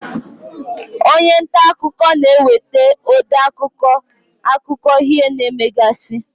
Onye nta akụkọ na-ewetere ode akụkọ, akụkọ ihe na-emegasị.